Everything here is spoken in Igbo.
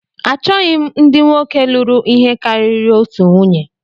Achọghị m ndị nwoke lụrụ ihe karịrị otu nwunye